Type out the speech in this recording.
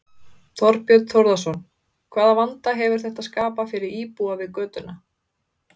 Þorbjörn Þórðarson: Hvaða vanda hefur þetta skapað fyrir íbúa við götuna?